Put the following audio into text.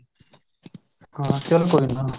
ਹਾਂ ਚੱਲ ਕੋਈ ਨਾ